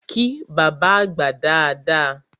Kí bábá àgbà dada!